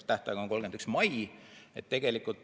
Esitamise tähtaeg on 31. mai.